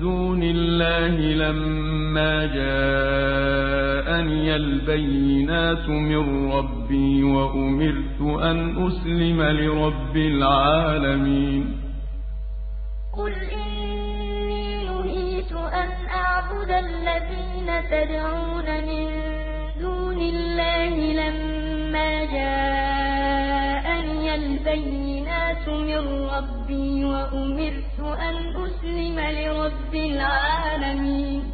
دُونِ اللَّهِ لَمَّا جَاءَنِيَ الْبَيِّنَاتُ مِن رَّبِّي وَأُمِرْتُ أَنْ أُسْلِمَ لِرَبِّ الْعَالَمِينَ ۞ قُلْ إِنِّي نُهِيتُ أَنْ أَعْبُدَ الَّذِينَ تَدْعُونَ مِن دُونِ اللَّهِ لَمَّا جَاءَنِيَ الْبَيِّنَاتُ مِن رَّبِّي وَأُمِرْتُ أَنْ أُسْلِمَ لِرَبِّ الْعَالَمِينَ